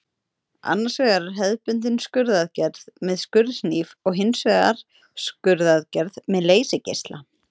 Annars vegar er hefðbundin skurðaðgerð með skurðhnífi og hins vegar skurðaðgerð með leysigeisla.